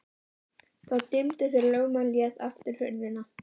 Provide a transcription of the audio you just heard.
Það dimmdi þegar lögmaðurinn lét aftur hurðina.